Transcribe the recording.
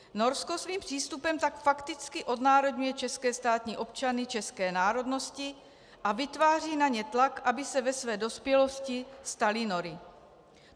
Norsko svým přístupem tak fakticky odnárodňuje české státní občany české národnosti a vytváří na ně tlak, aby se ve své dospělosti stali Nory.